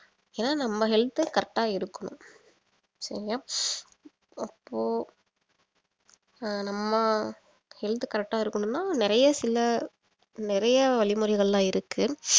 ஏன்னா நம்ம health correct ஆ இருக்கணும் சரியா அப்போ அஹ் நம்ம health correct ஆ இருக்கணும்னா நறைய சில நறையா வழிமுறைகள்லாம் இருக்கு